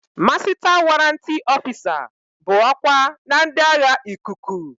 Masịta warrantị ọfịsa bụ ọkwa na ndị agha ikuku.